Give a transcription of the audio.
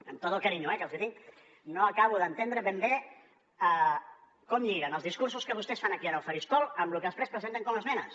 amb tot el carinyo que els tinc no acabo d’entendre ben bé com lliguen els discursos que vostès fan aquí al faristol amb lo que després presenten com a esmenes